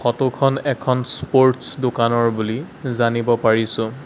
Photo খন এখন sports দোকানৰ বুলি জানিব পাৰিছোঁ।